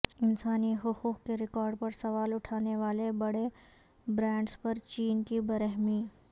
انسانی حقوق کے ریکارڈ پر سوال اٹھانے والے بڑے برانڈز پر چین کی برہمی